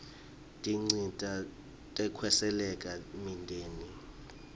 tinsita tekwesekela imindeni